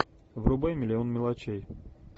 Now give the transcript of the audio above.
врубай миллион мелочей